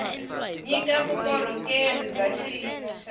nyika vukorhokeri bya xiyimo xa